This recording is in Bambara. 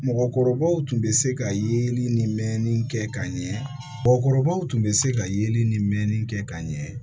Mɔgɔkɔrɔbaw tun bɛ se ka yeli ni kɛ ka ɲɛ mɔgɔkɔrɔbaw tun bɛ se ka yeli ni mɛnni kɛ ka ɲɛ